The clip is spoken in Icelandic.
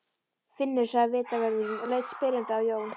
Finnur sagði vitavörðurinn og leit spyrjandi á Jón.